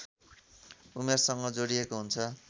उमेरसँग जोडिएको हुन्छ